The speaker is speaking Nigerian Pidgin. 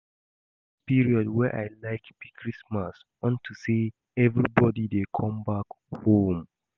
The best period wey I like be Christmas unto say everybody dey come back home